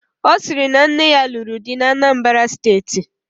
Ọ sịrị na nne ya lụrụ di n'Anambara steeti